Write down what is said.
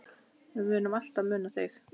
Við munum alltaf muna þig.